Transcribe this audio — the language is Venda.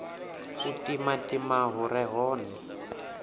u timatima hu re hone